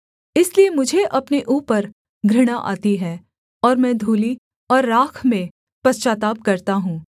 इसलिए मुझे अपने ऊपर घृणा आती है और मैं धूलि और राख में पश्चाताप करता हूँ